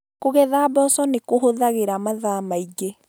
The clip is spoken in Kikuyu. Kũgetha mboco nĩ kũhũthagĩra mathaa maingĩ